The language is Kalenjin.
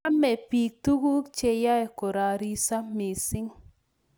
Chame biik tuguuk cheyoe korariso missing